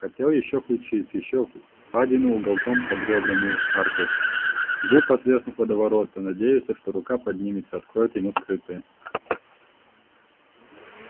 хотел ещё ключиц ещё впадину уголком под рёбрами аркой губ отверстых водоворота надеялся что рука поднимется откроет ему скрытое